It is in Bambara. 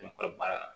Ne kɔrɔ baara la